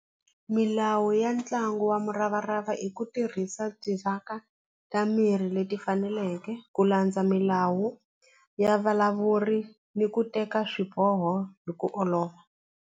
Milawu ya ntlangu wa muravarava i ku tirhisa ta mirhi leti faneleke ku landza milawu ya vulavuri ni ku teka swiboho hi ku olova.